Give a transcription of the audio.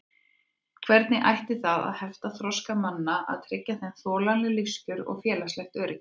Hvernig ætti það að hefta þroska manna að tryggja þeim þolanleg lífskjör og félagslegt öryggi?